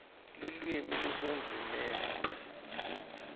lulwimi lusendzimeni